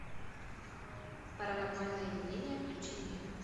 паранормальное явление включи мне